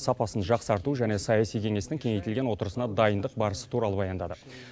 сапасын жақсарту және саяси кеңестің кеңейтілген отырысына дайындық барысы туралы баяндады